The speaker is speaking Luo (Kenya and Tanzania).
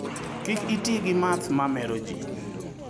Kik iti gi math mameroji.